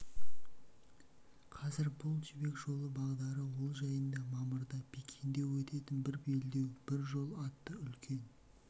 қазір бұл жібек жолы бағдары ол жайында мамырда пекинде өтетін бір белдеу бір жол атты үлкен